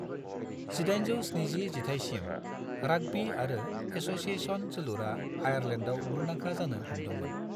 1870 जिथाइसिम, राग्बी आरो एस'सिएशन जोलुरा आयारलेन्डाव मुंदांखा जानो हमदोंमोन।